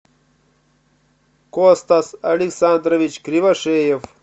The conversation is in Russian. костас александрович кривошеев